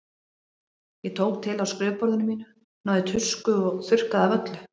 Ég tók til á skrifborðinu mínu, náði í tusku og þurrkaði af öllu.